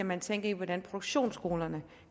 man tænker i hvordan produktionsskolerne